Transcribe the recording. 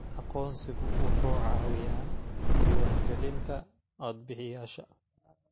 Aqoonsigu wuxuu caawiyaa diiwaangelinta codbixiyayaasha.